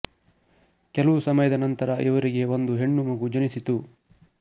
ಕೆಲವು ಸಮಯದ ನಂತರ ಇವರಿಗೆ ಒಂದು ಹೆಣ್ಣು ಮಗು ಜನಿಸಿತು